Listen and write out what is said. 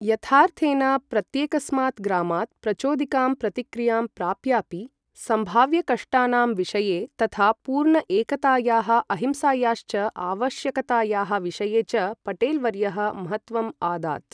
यथार्थेन प्रत्येकस्मात् ग्रामात् प्रचोदिकां प्रतिक्रियां प्राप्यापि, सम्भाव्यकष्टानां विषये तथा पूर्ण एकतायाः अहिंसायाश्च आवश्यकतायाः विषये च पटेल् वर्यः महत्त्वम् आदात्।